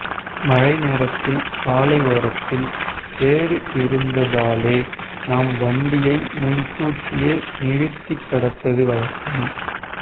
மழை நேரத்தில் சாலை ஓரத்தில் சேறு இருந்தாலே நாம் வண்டியை முன்கூட்டியே நிறுத்தி கடப்பது வழக்கம்